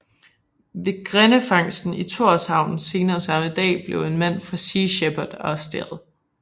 Ved grindefangsten i Tórshavn senere samme dag blev en mand fra Sea Shepherd arresteret